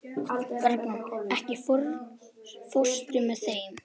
Bergrán, ekki fórstu með þeim?